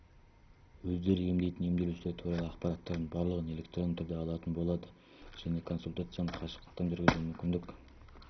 өздері емдейтін емделушілер туралы ақпараттардың барлығын электронды түрде алатын болады және консультацияны қашықтан жүргізуге мүмкіндік